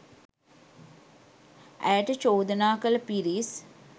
ඇයට චෝදනා කළ පිරිස්